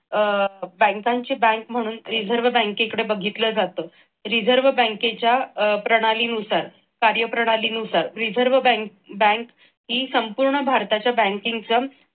अह बँकांची बँक म्हणून reserve बँकेकडे बघितल जाते. reserve बँकेच्या अह प्रणालीनुसार कार्यप्रणाली नुसार reserve bank ही संपूर्ण भारताच्या banking चा